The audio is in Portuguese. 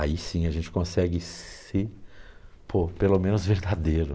Aí sim a gente consegue ser, pô, pelo menos, verdadeiro.